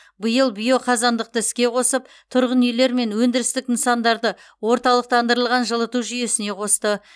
биыл биоқазандықты іске қосып тұрғын үйлер мен өндірістік нысандарды орталықтандырылған жылыту жүйесіне қосты